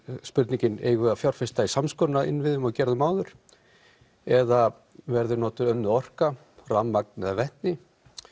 spurningin eigum við að fjárfesta í samskonar innviðum og við gerðum áður eða verður notuð önnur orka rafmagn eða vetni